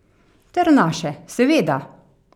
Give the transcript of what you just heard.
Ter naše, seveda!